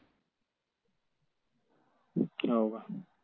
हाव का?